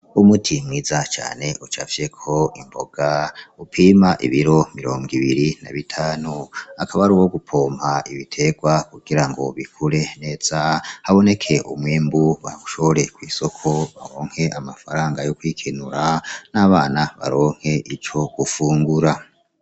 Umuti mwiza cane ucafyeko imboga, upima ibiro mirongo ibiri na bitanu, akaba aruwo gupompa ibiterwa kugirango bikure neza haboneke umwimbu bawushore kw'isoko baronke amafaranga yo kwikenura n'abana baronke ico gufungura.